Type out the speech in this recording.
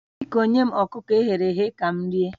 Biko nye m ọkụkọ e ghere eghe ka m rie